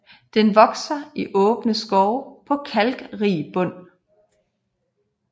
Den vokser i åbne skove på kalkrig bund